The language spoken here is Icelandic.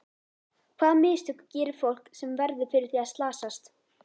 Hvaða mistök gerir fólk sem verður fyrir því að slasast?